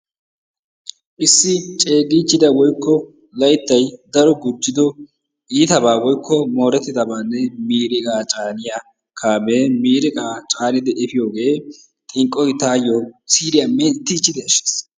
Issi ceegichchida woykko layttay dari gujjido iitabanne woykko miiriqqa caaniyaa kaame miiriqa caanadi efiyooge xinqqoy taayyo siriyaa menttichchidi ashshiis.